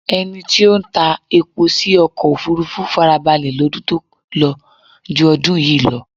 Ẹni tí ó ń ta epo sí ọkọ̀ òfúrúfú farabalẹ̀ lọ́dún tó lọ ju ọdún yìí lọ.